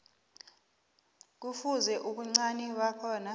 kufuze ubuncani bakhona